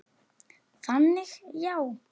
Þannig já.